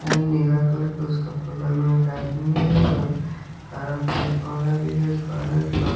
नीला colour का उसका बगल में एक आदमी है हरा पेड़ पौधा भी है घर है।